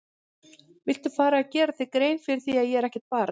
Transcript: Viltu fara að gera þér grein fyrir því að ég er ekkert barn!